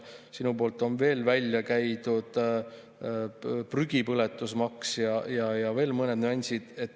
Sinu poolt on veel välja käidud prügipõletusmaks ja veel mõned nüansid.